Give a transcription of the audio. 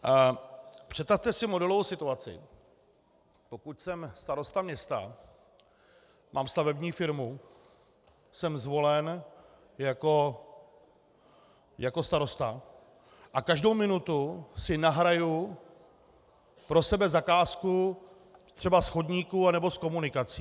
Představte si modelovou situaci, pokud jsem starosta města, mám stavební firmu, jsem zvolen jako starosta a každou minutu si nahraju pro sebe zakázku třeba z chodníků nebo z komunikací.